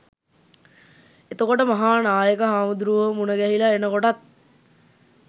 එතකොට මහා නායක හාමුදුරුවො මුණගැහිල එනකොටත්